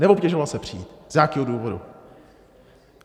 Neobtěžoval se přijít z nějakého důvodu.